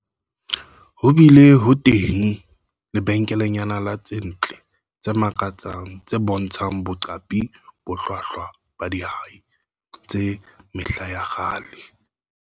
Ho bile ho teng lebenkelenyana la tse ntle tse makatsang tse bontshang boqapi bo hlwahlwa ba dihwai tsa mehla ya kgale.